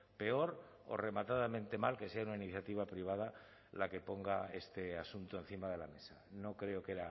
peor o rematadamente mal que sea una iniciativa privada la que ponga este asunto encima de la mesa no creo que